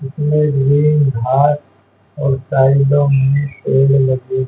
इसमें green heart और साइडों में लगे --